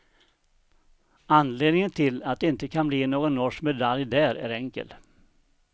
Anledningen till att det inte kan bli någon norsk medalj där är enkel.